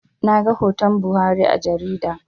Naga hoton Buhari a jarida